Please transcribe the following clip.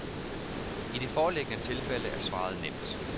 I det foreliggende tilfælde er svaret nemt.